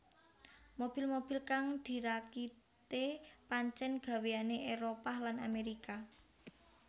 Mobil mobil kang dirakite pancen gaweyane Éropah lan Amerika